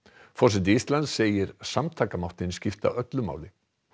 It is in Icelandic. forseti Íslands segir samtakamáttinn skipta öllu máli